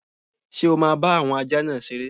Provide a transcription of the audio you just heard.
Ṣé o máa bá àwọn ajá náà seré?